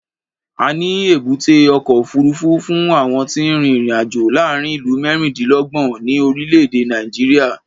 A ní èbúté ọkọ̀ òfuurufú fún àwọn tí ń rin ìrìn-àjò láàárín ìlú mẹ́rìndínlọ́gbọ̀n ní orílẹ̀-èdè Nàìjíríà.